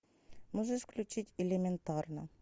можешь включить элементарно